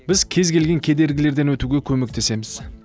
біз кез келген кедергілерден өтуге көмектесеміз